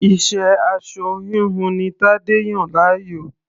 Iṣẹ́ aṣọ-híhun ni Tadé yàn láàyò.